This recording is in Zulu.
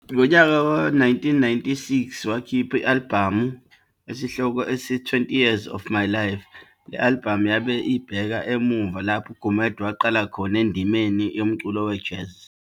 Ngonyaka we-1996 wakhipha i-alibhamu esihloko sithi "20 Years of My life", le alibhamu yabe ibheka emuva lapho uGumede aqala khona endimeni yomculo we-jazz.